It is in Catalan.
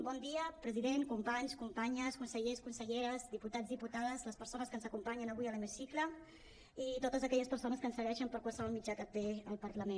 bon dia president companys companyes consellers conselleres diputats diputades les persones que ens acompanyen avui a l’hemicicle i a totes aquelles persones que ens segueixen per qualsevol mitjà que té el parlament